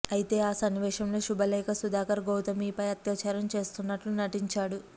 అయితే ఆ సన్నివేశంలో శుభలేఖ సుధాకర్ గౌతమీ పై అత్యాచారం చేస్తున్నట్లు నటించాడు